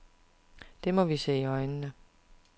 Det må vi se i øjnene.